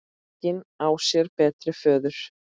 Engin á sér betri föður.